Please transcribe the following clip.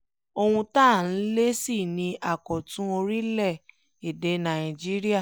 ohun tá à ń lé sí ni àkọ̀tun orílẹ̀-èdè nàìjíríà